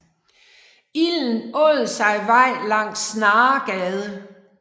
Ilden åd sig vej langs Snaregade